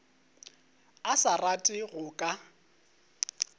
a sa rate go ka